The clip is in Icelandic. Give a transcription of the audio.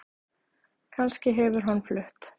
Kannski hefur hann flutt